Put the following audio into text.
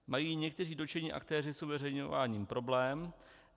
Mají někteří dotčení aktéři s uveřejňováním problém?